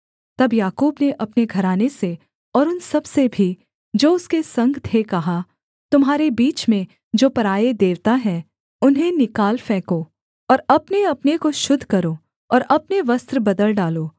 तब याकूब ने अपने घराने से और उन सबसे भी जो उसके संग थे कहा तुम्हारे बीच में जो पराए देवता हैं उन्हें निकाल फेंको और अपनेअपने को शुद्ध करो और अपने वस्त्र बदल डालो